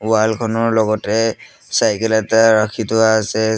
wall খনৰ লগতে cycle এটা ৰাখি থোৱা আছে --